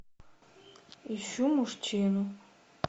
ищу мужчину